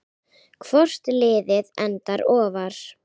Hvort liðið endar ofar?